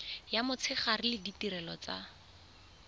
ya motshegare le ditirelo tsa